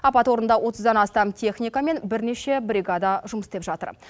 апат орнында отыздан астам техника мен бірнеше бригада жұмыс істеп жатыр